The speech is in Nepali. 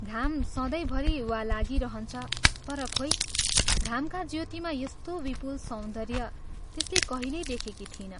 घाम सधैंभरि वा लागिरहन्छ, तर खोइ, घामका ज्योतिमा यस्तो विपुल सौन्दर्य त्यसले कहिल्यै देखेकी थिइन।